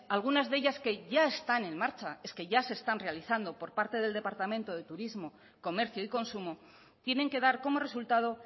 algunas de ellas que ya están en marcha es que ya se están realizando por parte del departamento de turismo comercio y consumo tienen que dar como resultado